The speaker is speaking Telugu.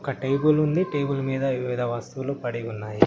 ఒక టేబుల్ ఉంది. టేబుల్ మీద వివిధ వస్తువులు పడి ఉన్నాయి.